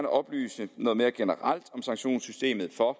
oplyse noget mere generelt om sanktionssystemet for